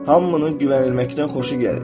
Hamının güvənilməkdən xoşu gəlir.